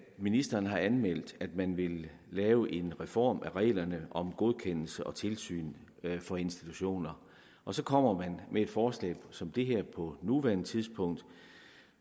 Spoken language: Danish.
ministeren har anmeldt at man vil lave en reform af reglerne om godkendelse af og tilsyn for institutioner og så kommer man med et forslag som det her på nuværende tidspunkt